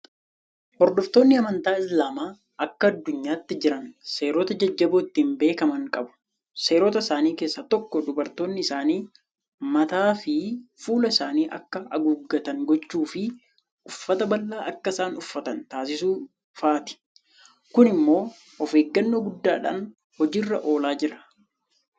Hordoftoonni amantaa Islaamaa akka addunyaatti jiran seerota jajjaboo ittiin beekaman qabu. Seerota isaanii keessaa tokko dubartoonni isaanii mataafi fuula isaanii akka aguuggatan gochuufi uffata babal'aa akka isaan uffatan tasisuu fa'aati. Kun immoo ofeeggannoo guddaadhaan hojii irra oolaa jira.